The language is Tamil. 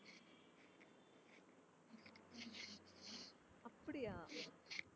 அப்படியா